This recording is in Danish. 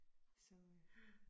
Så øh